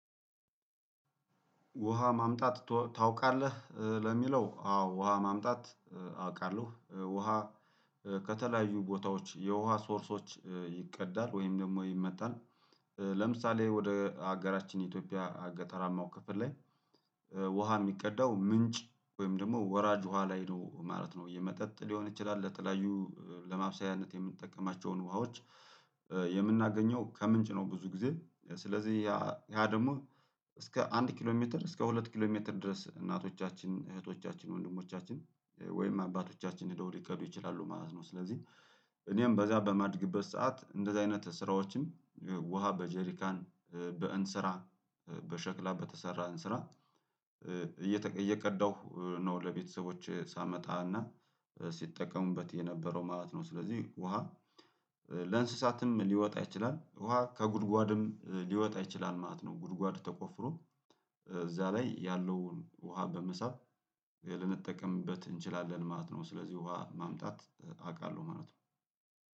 ውሃ ማምጣት ታውቃለህ? ለሚለው አዎ ውሃ ማምጣት አውቃለሁ ውሃ ከተለያዩ ቦታዎች የውሃ ሶርሶች ይቅዳል ወይም ደግሞ ይመጣል ለምሳሌ ወደ ሀገራችን የኢትዮጵያ ገጠራማው ክፍል ላይ ውሃ የሚቀዳው ምንጭ ወይም ደግሞ ወራጅ ውሃ ላይ ነው ማለት ነው የመጠጥ ሊሆን ይችላል፣ ለተለያዩ ለማብሰያነት የምንጠቀማቸውን ውሃዎች የምናገኘው ከምንጭ ነው ብዙ ጊዜ ስለዚህ ያ ያ ደግሞ እስከ አንድ ኪሎ ሜትር እስከ ሁለት ኪሎ ሜትር ድረስ እናቶቻችን እህቶቻችን ወንድሞቻችን ወይም አባቶቻችን ሄደው ሊቀዱ ይችላሉ ማለት ነው፤ ስለዚህ እኔም በዛ በማድግበት ሰዓት እንደዚህ አይነት ስራዎችን ውሃ በጀሪካን፣ በእንስራ፣ በሸክላ በተሰራ እንስራ እየቀዳሁ ነው ለቤተሰቦች ሳመጣና ሲጠቀሙበት የነበረው ማለት ነው፤ ስለዚህ ውሃ ለእንስሳትም ሊወጣ ይችላል ውሃ ከጉድጓድም ሊወጣ ይችላል ማለት ነው ጉድጓድ ተቆፍሮ እዛ ላይ ያለውን ውሃ በመሳብ ልንጠቀምበት እንችላለን ማለት ነው፤ ስለዚህ ውሃ ማምጣት አውቃለሁ ማለት ነው።